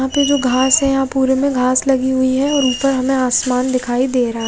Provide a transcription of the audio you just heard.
यहाँ पे जो घास है यहाँ पुरे में घास लगे हुए है और उनपर हमे आसमान दिखाई दे रहा है।